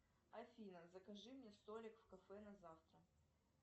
афина закажи мне столик в кафе на завтра